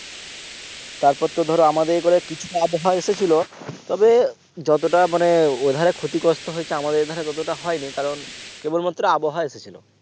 তারপর তো ধরো আমাদের একরে কিছুটা আবহাওয়া এসেছিলো তবে যতটা মানে ওধারে ক্ষতিগ্রস্ত হয়েছে আমাদের এইধারে ততটা হয়নি কারণ কেবল মাত্র আবহাওয়া এসেছিলো